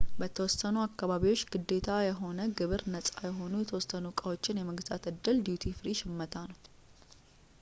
በተወሰኑ አካባቢዎች ግዴታ የሆነ ግብር ነጻ የሆኑ የተወሰኑ ዕቃዎችን የመግዛት ዕድል ዲዩቲ ፍሪ ሽመታ ነው